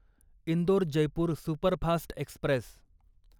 Indore Jaipur superfast Express